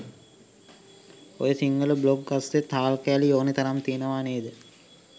ඔය සිංහල බ්ලොග් අස්සෙත් හාල් කෑලි ඕනෙ තරම් තියෙනවා නේද?